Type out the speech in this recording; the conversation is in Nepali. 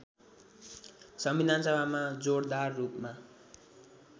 संविधानसभामा जोडदार रूपमा